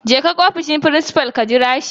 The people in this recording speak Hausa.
Jeka ofishin frincifal. ka jira shi